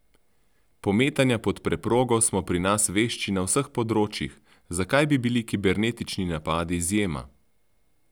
Pometanja pod preprogo smo pri nas vešči na vseh področjih, zakaj bi bili kibernetični napadi izjema?